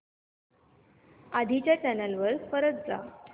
आधी च्या चॅनल वर परत जा